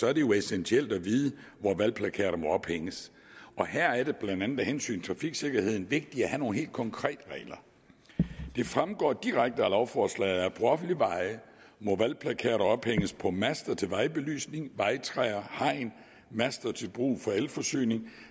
er det jo essentielt at vide hvor valgplakater må ophænges og her er det blandt andet af hensyn til trafiksikkerheden vigtigt at have nogle helt konkrete regler det fremgår direkte af lovforslaget at på offentlige veje må valgplakater ophænges på master til vejbelysning vejtræer hegn master til brug for elforsyning